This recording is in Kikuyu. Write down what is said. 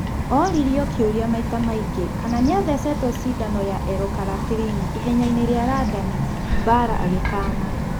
Oririo kĩũria maita maingĩ kana nĩathecetwo cindano ya L- carnitine ihenyainĩ rĩa Randani, Bara agikaana.